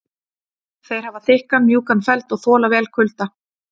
þeir hafa þykkan mjúkan feld og þola vel kulda